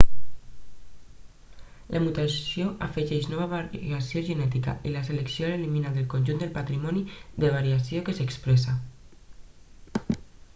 la mutació afegeix nova variació genètica i la selecció l'elimina del conjunt del patrimoni de variació que s'expressa